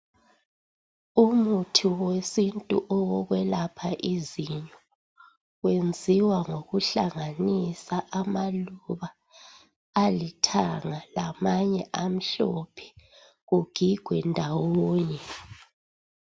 Umuthi wesintu owokwelapha izinyo wenziwa ngokuhlanganisa amaluba alithanga lamanye amhlophe kugigwe ndawonye.